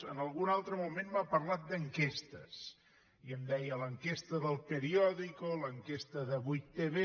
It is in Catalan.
en algun altre moment m’ha parlat d’enquestes i em deia l’enquesta d’dico l’enquesta de 8tv